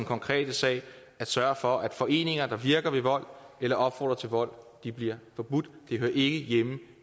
konkrete sag at sørge for at foreninger der virker ved vold eller opfordrer til vold bliver forbudt de hører ikke hjemme